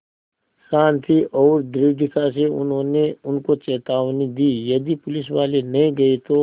शान्ति और दृढ़ता से उन्होंने उनको चेतावनी दी यदि पुलिसवाले नहीं गए तो